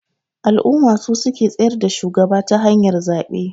Al'umma su suke tsayar da shugaba ta hanyar zabe